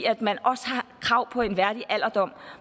at man også har krav på en værdig alderdom